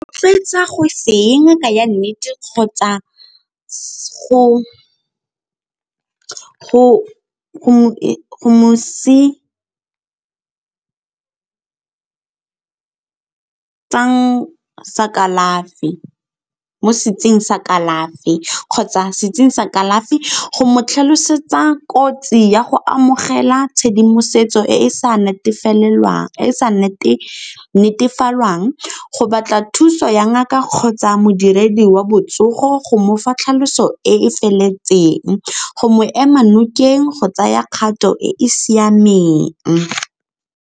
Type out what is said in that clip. Rotloetsa go se ya ngaka ya nnete kgotsa mo sa kalafi kgotsa sa kalafi, go mo tlhalosetsa kotsi ya go amogela tshedimosetso e e sa netefalwang, go batla thuso ya ngaka kgotsa modiredi wa botsogo go mofa tlhaloso e e feleletseng, go mo ema nokeng go tsaya kgato e e siameng.